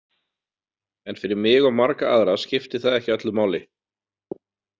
En fyrir mig og marga aðra skiptir það ekki öllu máli.